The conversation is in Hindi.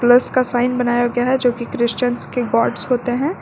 प्लस का साइन बनाया गया है जोकि क्रिश्चियन्स के गॉड होते हैं।